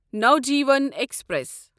Navjeevan express